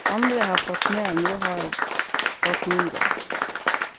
Andre har fått mer, få har fått mindre.